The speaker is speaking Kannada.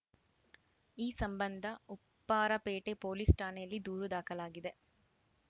ಈ ಸಂಬಂಧ ಉಪ್ಪಾರಪೇಟೆ ಪೊಲೀಸ್‌ ಠಾಣೆಯಲ್ಲಿ ದೂರು ದಾಖಲಾಗಿದೆ